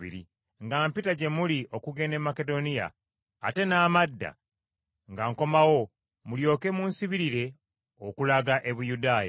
nga mpita gye muli okugenda e Makedoniya, ate n’amadda nga nkomawo, mulyoke munsibirire okulaga e Buyudaaya.